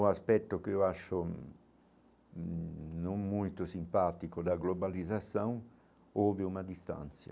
O aspecto que eu acho não muito simpático da globalização, houve uma distância.